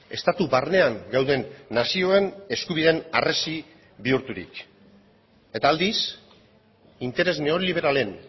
estatu barnean gauden nazioen eskubideen harresi bihurturik eta aldiz interes neoliberalen